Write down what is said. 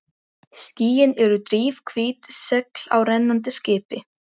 Skýin eru drifhvít segl á rennandi skipi.